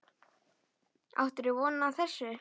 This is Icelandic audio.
Áttirðu von á þessu?